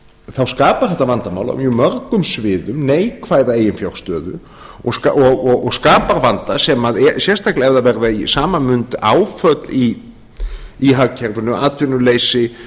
þá skapar þetta vandamál á mjög mörgum sviðum neikvæða eiginfjárstöðu og skapar vanda sérstaklega ef það verða í sama mund áföll í hagkerfinu atvinnuleysi